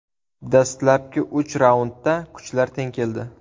Dastlabki uch raundda kuchlar teng keldi.